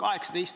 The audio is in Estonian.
On küll plaanis.